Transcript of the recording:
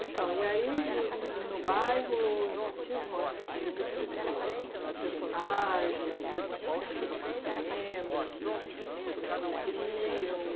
Então, e aí, no no no bairro, tinha alguma referência, alguma algum personagem que o senhor se lembra, que todos conheciam?